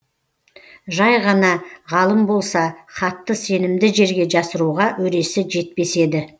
жай ғана ғалым болса хатты сенімді жерге жасыруға өресі жетпес еді